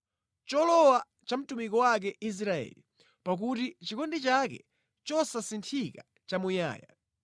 Cholowa cha mtumiki wake Israeli; pakuti chikondi chake chosasinthika nʼchamuyaya.